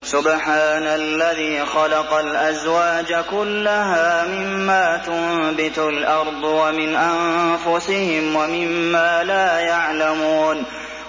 سُبْحَانَ الَّذِي خَلَقَ الْأَزْوَاجَ كُلَّهَا مِمَّا تُنبِتُ الْأَرْضُ وَمِنْ أَنفُسِهِمْ وَمِمَّا لَا يَعْلَمُونَ